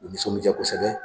U nisɔn bi ja kosɛbɛ.